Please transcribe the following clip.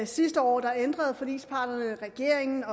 sidste år ændrede forligsparterne regeringen